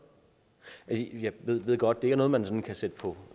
af jeg ved godt at det ikke er noget man sådan kan sætte på